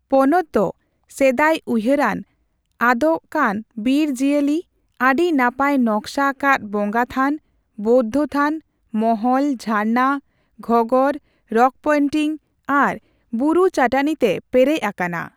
ᱯᱚᱱᱚᱛ ᱫᱚ ᱥᱮᱫᱟᱭ ᱩᱭᱦᱟᱹᱨᱟᱱ, ᱟᱫᱚᱜᱠᱟᱱ ᱵᱤᱨ ᱡᱤᱭᱟᱹᱞᱤ, ᱟᱹᱰᱤ ᱱᱟᱯᱟᱭ ᱱᱚᱠᱥᱟ ᱟᱠᱟᱫ ᱵᱚᱸᱜᱟᱛᱷᱟᱱ, ᱵᱳᱫᱽᱫᱷᱚ ᱛᱷᱟᱱ, ᱢᱚᱦᱚᱞ, ᱡᱷᱟᱨᱱᱟ, ᱜᱷᱚᱸᱜᱚᱨ, ᱨᱚᱠ ᱯᱮᱭᱱᱴᱤᱝ ᱟᱨ ᱵᱩᱨᱩ ᱪᱟᱹᱴᱟᱹᱱᱤ ᱛᱮ ᱯᱮᱨᱮᱡ ᱟᱠᱟᱱᱟ ᱾